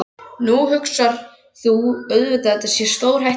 Nú hugsar þú auðvitað að þetta sé stórhættulegt.